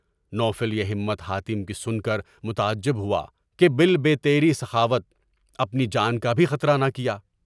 نو فل یہ ہمت حاتم کی سن کر متجب ہوا کہ بال بے تیرے سخاوت اپنی جان کا بھی خطرہ نہ کیا۔